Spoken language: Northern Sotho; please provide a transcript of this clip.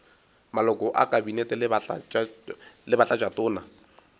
maloko a kabinete le batlatšatona